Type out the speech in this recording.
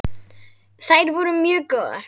Þær væru mjög góðar.